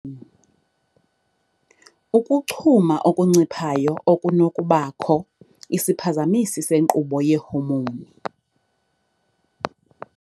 Ukuchuma okunciphayo okunokubakho, isiphazamisi senkqubo yeehomowuni.